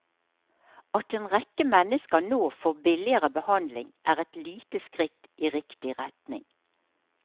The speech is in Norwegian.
At en rekke mennesker nå får billigere behandling, er et lite skritt i riktig retning.